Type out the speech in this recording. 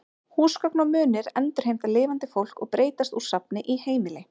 Húsgögn og munir endurheimta lifandi fólk og breytast úr safni í heimili.